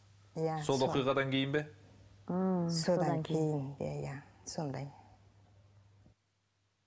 иә сол оқиғадан кейін бе м содан кейін иә иә сондай